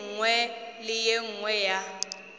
nngwe le e nngwe ya